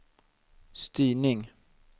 styrning